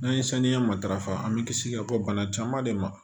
N'an ye saniya matarafa an bɛ kisi ka bɔ bana caman de ma